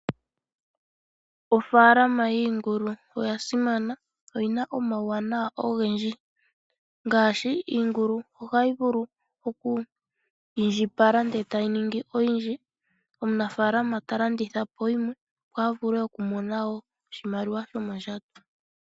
Ofaalama yiingulu oya simana oyina omauwanawa ogendji ngaashi iingulu ohayi vulu oku indjipala ndele tayi ningi oyindji. Omunafaalama talandithapo yimwe opo a vule okumona woo oshimaliwa shomondjato.